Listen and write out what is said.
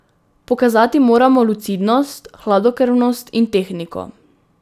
Pokazati moramo lucidnost, hladnokrvnost in tehniko.